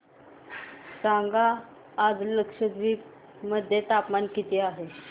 सांगा आज लक्षद्वीप मध्ये तापमान किती आहे